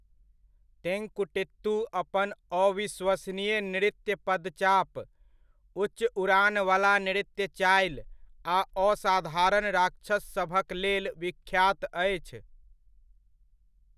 तेंकुटित्तु अपन अविश्वसनीय नृत्य पदचाप, उच्च उड़ानवला नृत्य चालि आ असाधारण राक्षससभक लेल विख्यात अछि।